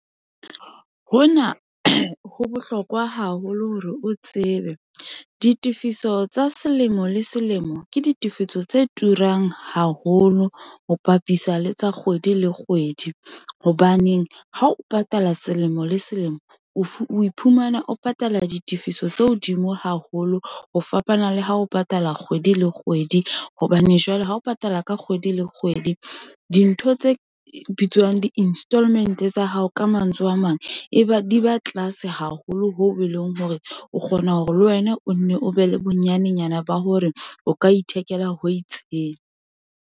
Hona ho bohlokwa haholo hore o tsebe, ditefiso tsa selemo le selemo, ke ditifiso tse turang haholo, ho bapisa le tsa kgwedi le kgwedi, hobaneng ha o patala selemo le selemo, o iphumana o patala ditifiso tse hodimo haholo, ho fapana le ha o patala kgwedi le kgwedi, hobane jwale ha o patala ka kgwedi le kgwedi, dintho tse bitswang di-installment-e tsa hao, ka mantswe a mang, e ba di ba tlase haholo, hoo e leng hore o kgona hore le wena o nne o be le bonyanenyana ba hore o ka ithekela ho itseng.